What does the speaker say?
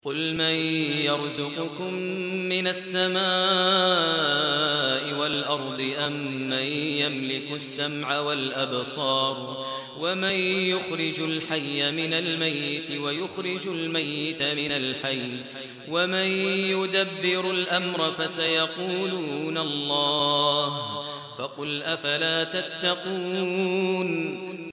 قُلْ مَن يَرْزُقُكُم مِّنَ السَّمَاءِ وَالْأَرْضِ أَمَّن يَمْلِكُ السَّمْعَ وَالْأَبْصَارَ وَمَن يُخْرِجُ الْحَيَّ مِنَ الْمَيِّتِ وَيُخْرِجُ الْمَيِّتَ مِنَ الْحَيِّ وَمَن يُدَبِّرُ الْأَمْرَ ۚ فَسَيَقُولُونَ اللَّهُ ۚ فَقُلْ أَفَلَا تَتَّقُونَ